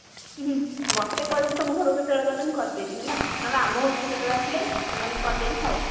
ମତେ କହିବୁ ତମ ଘରକୁ କେତେବେଳେ ଗଲେ କରିଦେବି ହେଲା ନହେଲେ ଆମ ଘରକୁ କେତେବେଳେ ଆସିଲେ ଆଣିକି କରିଦେବୀ ଖାଇବୁ।